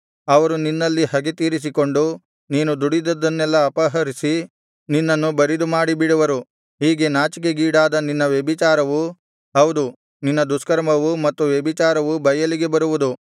ಅವರು ನಿನ್ನಲ್ಲಿ ಹಗೆ ತೀರಿಸಿಕೊಂಡು ನೀನು ದುಡಿದದ್ದನ್ನೆಲ್ಲಾ ಅಪಹರಿಸಿ ನಿನ್ನನ್ನು ಬರಿದುಮಾಡಿ ಬಿಡುವರು ಹೀಗೆ ನಾಚಿಕೆಗೀಡಾದ ನಿನ್ನ ವ್ಯಭಿಚಾರವು ಹೌದು ನಿನ್ನ ದುಷ್ಕರ್ಮವು ಮತ್ತು ವ್ಯಭಿಚಾರವೂ ಬಯಲಿಗೆ ಬರುವುದು